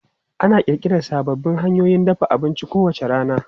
Ana ƙirƙira sababbin hanyoyin dafa abinci kowace rana.